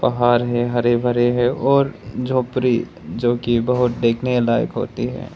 घर है हरे भरे हैं और झोपड़ी जो की बहुत देखने लायक होती है।